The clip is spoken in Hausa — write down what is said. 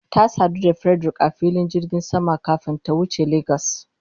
Ta sadu da Frederick a filin jirgin sama kafin ta wuce Lagos.